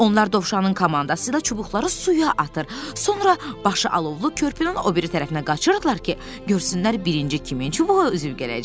Onlar Dovşanın komandası ilə çubuqları suya atır, sonra başı alovlu körpünün o biri tərəfinə qaçırdılar ki, görsünlər birinci kimin çubuğu üzüb gələcək.